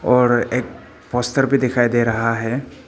और एक पोस्टर भी दिखाई दे रहा है।